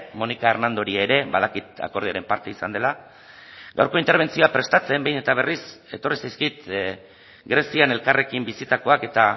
mónica hernandori ere badakit akordioaren parte izan dela gaurko interbentzioa prestatzen behin eta berriz etorri zaizkit grezian elkarrekin bizitakoak eta